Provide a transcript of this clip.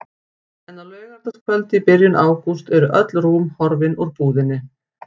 En á laugardagskvöldi í byrjun ágúst eru öll rúm horfin úr búðinni.